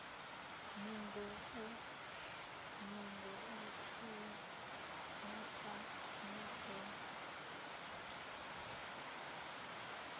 nungo u shumesa na u